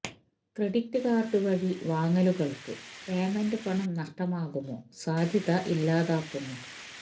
credit card വഴി വാങ്ങലുകൾക്ക് payment പണം നഷ്ടമാകുമോ സാധ്യത ഇല്ലാതാക്കുന്നു